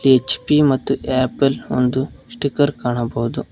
H P ಮತ್ತು Apple ಒಂದು sticker ಕಾಣಬಹುದು.